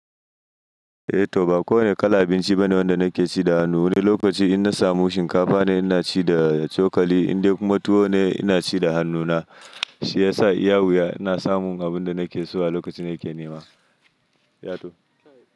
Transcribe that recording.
Eh to ba kowane kalan abinci bane wanda nake ci da hannu. Wani lokaci in na samu shinkafa ne ina ci da cokali, in dai kuma tuwo ne ina ci da hannuna. Shi ya sa iya wuya ina samun abin da nake so a lokacin nake nema. Yato.